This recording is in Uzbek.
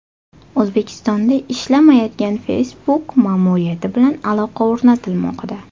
O‘zbekistonda ishlamayotgan Facebook ma’muriyati bilan aloqa o‘rnatilmoqda.